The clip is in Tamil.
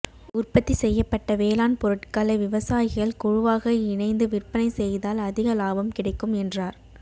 உற்பத்தி செய்யப்பட்ட வேளாண் பொருட்களை விவசாயிகள் குழுவாக இணைந்து விற்பனை செய்தால் அதிக லாபம் கிடைக்கும் என்றார்